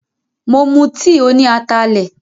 Mo mu tìì tí óní atalẹ̀.